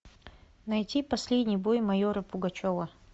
найти последний бой майора пугачева